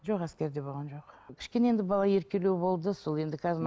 жоқ әскерде болған жоқ кішкене енді бала еркелеу болды сол енді қазір